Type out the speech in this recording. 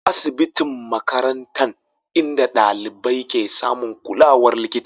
asibitin makarantan inda dalibai ke samun kulawar likita.